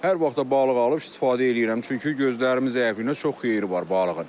Hər vaxt da balıq alıb istifadə eləyirəm, çünki gözlərimi zəifliyinə çox xeyri var balığın.